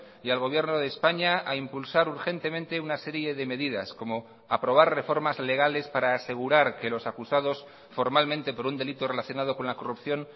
y al gobierno de españa a impulsar urgentemente una serie de medidas como aprobar reformas legales para asegurar que los acusados formalmente por un delito relacionado con la corrupción